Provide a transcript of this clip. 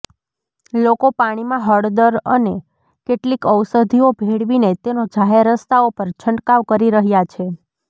લોકો પાણીમાં હળદર અનેક કેટલીક ઔષધીઓ ભેળવીને તેનો જાહેર રસ્તાઓ પર છંટકાવ કરી રહ્યા છે